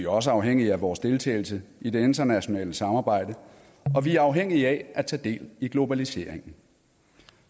også afhængige af vores deltagelse i det internationale samarbejde og vi er afhængige af at tage del i globaliseringen